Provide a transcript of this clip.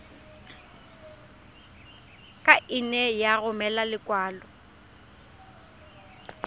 ka nne ya romela lekwalo